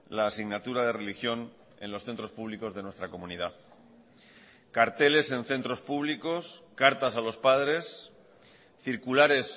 la asignatura de religión en los centros públicos de nuestra comunidad carteles en centros públicos cartas a los padres circulares